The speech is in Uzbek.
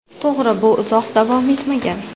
To‘g‘ri, bu uzoq davom etmagan.